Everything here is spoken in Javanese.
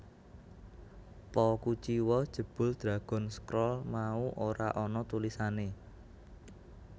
Po kuciwa jebul Dragon Scroll mau ora ana tulisané